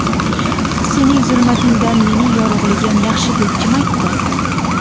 Sening zulmatingdan mening yorug‘ligim yaxshi deb kim aytdi?!.